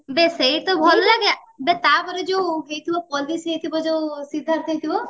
ବେ ସେଇ ତା ଭଲ ଲାଗେ ଆବେ ତା ପରେ ଯୋଉ police ହେଇଥିବ ଯୋଉ ସିଦ୍ଧାର୍ଥ ହେଇଥିବ